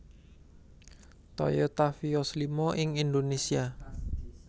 Toyota Vios Lima ing Indonesia